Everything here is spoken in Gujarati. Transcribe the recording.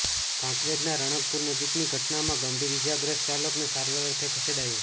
કાંકરેજના રાણકપુર નજીકની ઘટનામાં ગંભીર ઈજાગ્રસ્ત ચાલકને સારવાર અર્થે ખસેડાયો